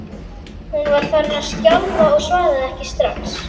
En það máttu vita að ég sé mikið eftir þér.